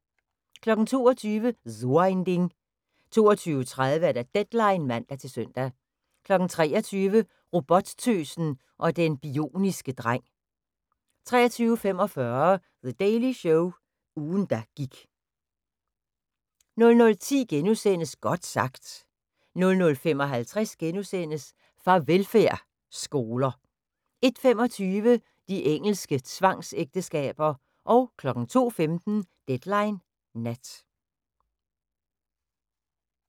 22:00: So ein Ding 22:30: Deadline (man-søn) 23:00: Robottøsen og den bioniske dreng 23:45: The Daily Show – ugen der gik 00:10: Godt sagt * 00:55: Farvelfærd: Skoler * 01:25: De engelske tvangsægteskaber 02:15: Deadline Nat